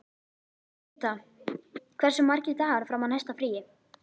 Rita, hversu margir dagar fram að næsta fríi?